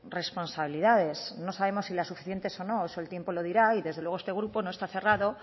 responsabilidades no sabemos si las suficientes o no eso el tiempo lo dirá y desde luego este grupo no está cerrado